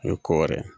O ye ko wɛrɛ ye